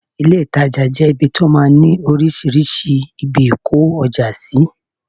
ilé ìtajà jẹ ibi tí ó máa ń ni oríṣiríṣi ibi ìkó ọjà sí